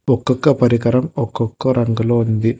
ఒకొక్క పరికరం ఒకొక్క రంగులో ఉంది.